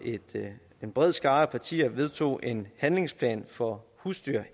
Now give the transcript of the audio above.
en bred skare af partier vedtog en handlingsplan for husdyr